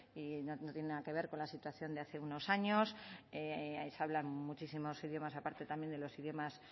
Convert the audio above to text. y no tiene nada que ver con la situación de hace unos años se hablan muchísimos idiomas aparte también de los idiomas